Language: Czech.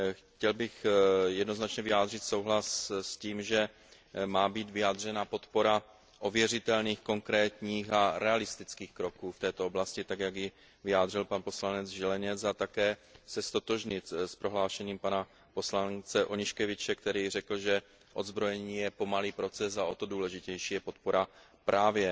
Chtěl bych jednoznačně vyjádřit souhlas s tím, že má být vyjádřena podpora ověřitelným, konkrétním a realistickým kroků v této oblasti tak, jak ji vyjádřil pan poslanec Zieleniec, a také se ztotožnit s prohlášením pana poslance Onyszkiewicze, který řekl, že odzbrojení je pomalý proces a o to důležitější je podpora právě